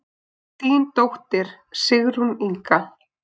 Þín dóttir, Sigrún Inga.